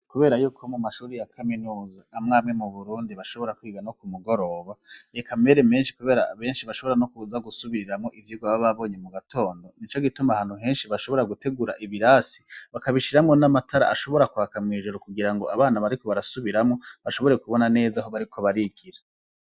Kuberayuko mu mashuri ya kaminuza amwe amwe mu Burundi bashobora kwiga no ku mugoroba eka mbere menshi kubera abenshi bashobora no kuza gusubiriramwo ivyigwa baba babonye mu gatondo nico gituma ahantu henshi bashobora gutegura ibirasi bakabishiramwo n'amatara ashobora kuhaka mwijoro kugirango abana bariko barasubiramwo bashobore kubona neza aho bariko barigira.